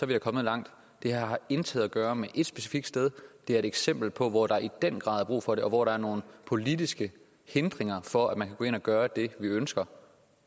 vi kommet langt det her har intet at gøre med et specifikt sted det er et eksempel på et sted hvor der i den grad er brug for det og hvor der er nogle politiske hindringer for at man kan gå ind og gøre det vi ønsker